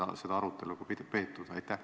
On seda arutelu peetud?